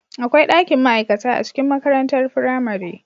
Akwai dakin ma'aikata a cikin makarantar firamare